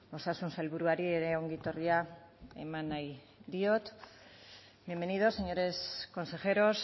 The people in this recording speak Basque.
osasun sailburuari ere ongi etorria eman nahi diot bienvenidos señores consejeros